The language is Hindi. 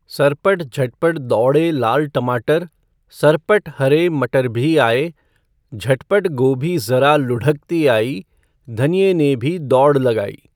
सरपट झटपट दौड़े लाल टमाटर, सरपट हरे मटर भी आए, झटपट गोभी ज़रा लुढ़कती आई, धनिए ने भी दौड़ लगाई।